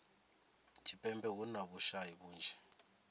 tshipembe hu na vhushayi vhunzhi